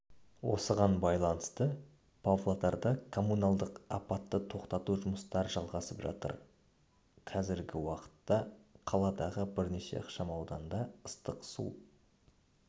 осыған байланысты павлодарда коммуналдық апатты тоқтату жұмыстары жалғасып жатыр қазіргі уақытта қаладағы бірнеше ықшамауданда ыстық су